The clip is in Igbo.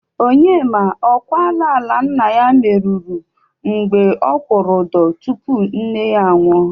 Onyema, ọ kwala ala nna ya meruru mgbe ọ kwụrụ ụdọ tupu nne ya anwụ?